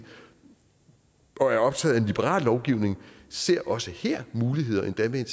og er optaget af liberal lovgivning ser også her muligheder endda med